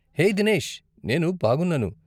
హే దినేష్! నేను బాగున్నాను.